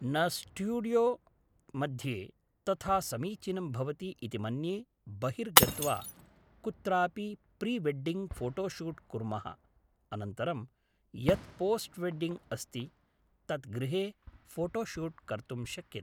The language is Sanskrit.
न स्टूडियो मध्ये तथा समीचिनं भवति इति मन्ये बहिर्गत्वा कुत्रापि प्रिवेड्डिङ्ग् फोटोशूट् कुर्मः अनन्तरं यत् पोस्ट् वेड्डिङ्ग् अस्ति तत् गृहे फोटोशूट् कर्तुं शक्यते